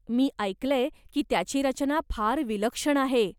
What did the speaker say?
मी ऐकलंय की त्याची रचना फार विलक्षण आहे.